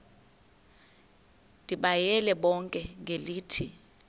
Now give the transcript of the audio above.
ndibayale bonke ngelithi